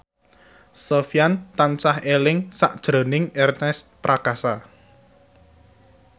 Sofyan tansah eling sakjroning Ernest Prakasa